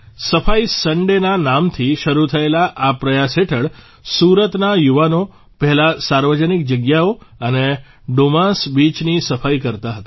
સફાઇ સન્ડે ના નામથી શરૂ થયેલા આ પ્રયાસ હેઠળ સુરતના યુવાનો પહેલાં સાર્વજનિક જગ્યાઓ અને ડુમાસ બીચની સફાઇ કરતાં હતા